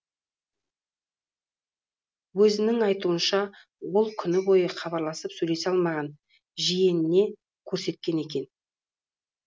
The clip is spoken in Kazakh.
өзінің айтуынша ол күні бойы хабарласып сөйлесе алмаған жиеніне көрсеткен екен